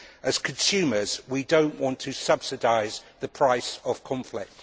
As consumers, we do not want to subsidise the price of conflict.